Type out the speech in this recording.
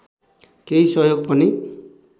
केही सहयोग पनि